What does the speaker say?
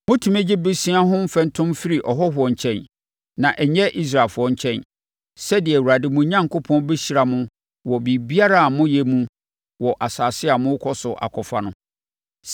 Motumi gye bosea ho mfɛntom firi ahɔhoɔ nkyɛn, na ɛnyɛ Israelfoɔ nkyɛn, sɛdeɛ Awurade, mo Onyankopɔn, bɛhyira mo wɔ biribiara a moyɛ mu wɔ asase a morekɔ so akɔfa no.